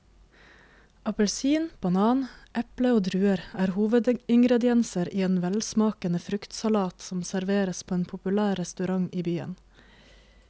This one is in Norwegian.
Appelsin, banan, eple og druer er hovedingredienser i en velsmakende fruktsalat som serveres på en populær restaurant i byen.